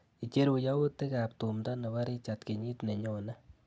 Icheruu yautikap tumndo nebo Richard kenyit nenyone.